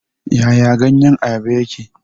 Yaya ganyen Ayaba yake?